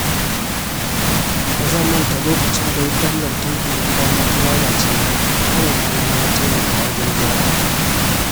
Ba zan manta lokacin da wutar lantarkin gidana ta lalace ba, tanadina ya taimaka wajen gyara ta.